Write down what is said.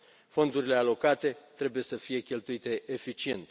Fondurile alocate trebuie să fie cheltuite eficient.